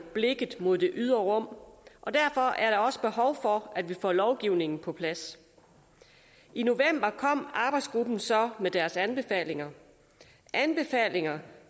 blikket mod det ydre rum og derfor er der også behov for at vi får lovgivningen på plads i november kom arbejdsgruppen så med deres anbefalinger anbefalinger